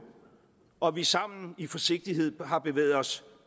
og at vi sammen i forsigtighed har bevæget os